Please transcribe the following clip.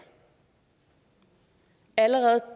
allerede